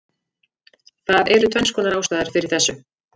Það eru tvennskonar ástæður fyrir þessu: